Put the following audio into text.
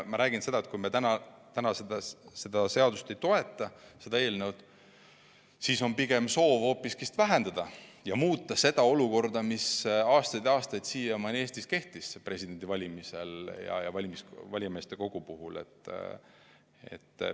Ma arvan, et kui me täna seda eelnõu ei toeta, siis on soov pigem hoopis vähendada ja muuta seda olukorda, mis aastaid Eestis on presidendivalimistel valijameeste kogu puhul kehtinud.